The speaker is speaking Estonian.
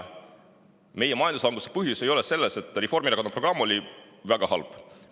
Meie majanduslanguse põhjus ei ole selles, et Reformierakonna programm oleks olnud väga halb.